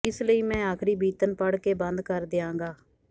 ਇਸ ਲਈ ਮੈਂ ਆਖ਼ਰੀ ਬੀਤਣ ਪੜ੍ਹ ਕੇ ਬੰਦ ਕਰ ਦਿਆਂਗਾ